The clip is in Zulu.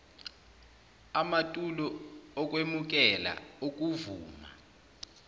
amatulo okwemukela okuvuma